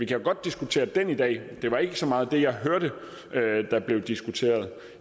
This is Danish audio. jo godt diskutere den i dag det var ikke så meget det jeg hørte at der blev diskuteret